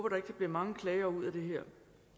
at der bliver mange klager ud af det her